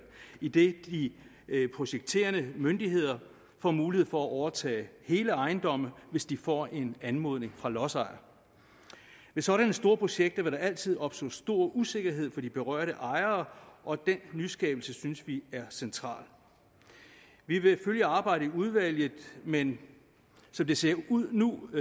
idet de projekterende myndigheder får mulighed for at overtage hele ejendommen hvis de får en anmodning fra lodsejeren ved sådanne store projekter vil der altid opstå stor usikkerhed for de berørte ejere og den nyskabelse synes vi er central vi vil følge arbejdet i udvalget men som det ser ud nu